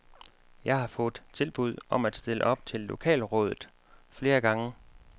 Jeg har fået tilbud om at stille op til lokalrådet flere gange.